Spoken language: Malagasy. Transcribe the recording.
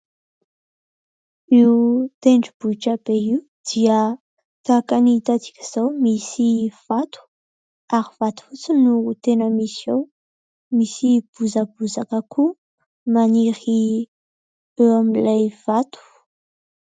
Io tendrombohitra be io dia tahaka ny hitantsika izao. Misy vato ary vato fotsy no tena misy ao, misy bozabozaka koa maniry eo amin'ilay vato.